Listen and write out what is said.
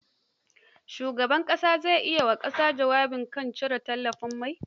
Shugaban ƙasar zai yi wa ƙasa jawabi kan cire tallafin mai.